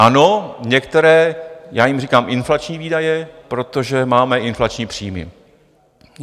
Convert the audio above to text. Ano, některé - já jim říkám inflační výdaje, protože máme inflační příjmy.